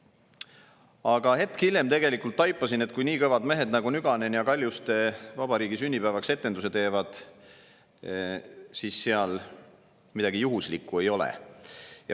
Aga hetk hiljem taipasin, et kui nii kõvad mehed nagu Nüganen ja Kaljuste vabariigi sünnipäevaks etenduse teevad, siis seal midagi juhuslikku ei ole.